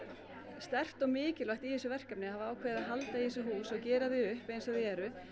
sterkt og mikilvægt í þessu verkefni að hafa ákveðið að halda í þessi hús og gera þau upp eins og þau eru